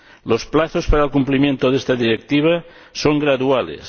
Los plazos para el cumplimiento de esta Directiva son graduales.